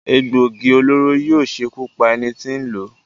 Egbòogi olóró yóò ṣekú pa ẹni tí n lò ó.